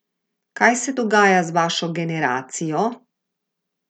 Kaj se dogaja z vašo generacijo?